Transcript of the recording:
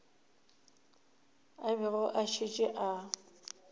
a bego a šetše a